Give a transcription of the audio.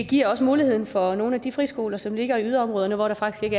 giver også muligheden for at nogle af de friskoler som ligger i yderområderne hvor der faktisk